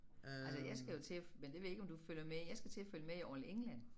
Altså jeg skal jo til men det ved jeg ikke om du følger med i jeg skal til at følge med i All England